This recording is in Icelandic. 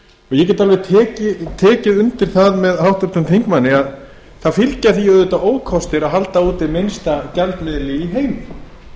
ég get alveg tekið undir það með háttvirtum þingmanni að það fylgja því auðvitað ókostir að halda úti minnsta gjaldmiðli í heimi